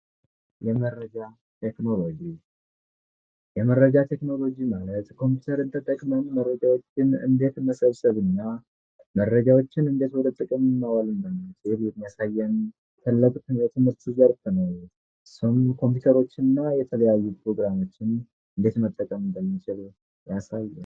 የመረጃ ቴክኖሎጂ የመረጃ ቴክኖሎጂ ማለት ኮምፒውተርን ተጠቅመን መረጃዎችን እንዴት መሰብሰብና መረጃዎችን እንዴት መጠቀም እንዳለብን የሚያሳየን ታላቅ የትምህርት ዘርፍ ነው። ሰው የተለያዩ ኮምፒውተሮችንና ፕሮግራሞችን እንዴት መጠቀም እንደሚችል ያሳያል።